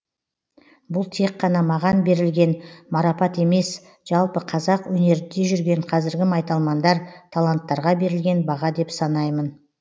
бұл тек қана маған берілген марапат емес жалпы қазақ өнерінде жүрген қазіргі майталмандар таланттарға берілген баға деп санаймын